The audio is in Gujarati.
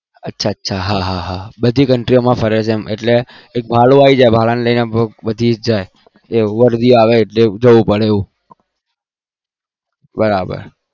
અચ્છા અચ્છા બધી ફરે છે એટલે ભાડું આવી જાય વરધી આવે એટલે જવું પડે